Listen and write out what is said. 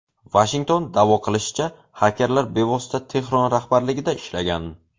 Vashington da’vo qilishicha, xakerlar bevosita Tehron rahbarligida ishlagan.